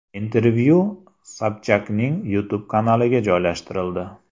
Intervyu Sobchakning YouTube kanaliga joylashtirildi .